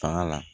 Fanga la